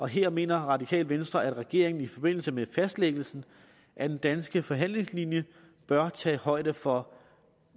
her mener radikale venstre at regeringen i forbindelse med fastlæggelsen af den danske forhandlingslinje bør tage højde for